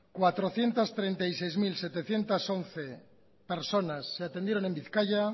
cuatrocientos treinta y seis mil setecientos once personas se atendieron en bizkaia